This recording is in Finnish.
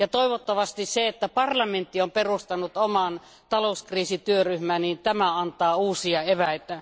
Toivottavasti se, että parlamentti on perustanut oman talouskriisityöryhmän, antaa uusia eväitä.